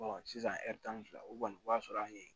sisan tan ni fila o kɔni o b'a sɔrɔ an ye